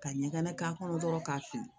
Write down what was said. Ka ɲaga k'a kɔnɔ dɔrɔn k'a fili